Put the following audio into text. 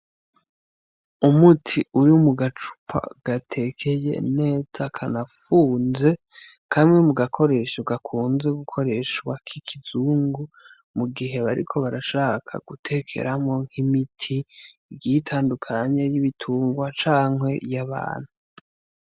Umuti uri mu gacupa gatekeye neza kanafunze, kamwe mu gakoresho gakunze gukoreshwa k'ikizungu mu gihe bariko barashaka gutekeramwo nk'imiti igiye itandukanye y'ibitungwa canke y'abantu.